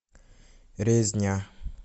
резня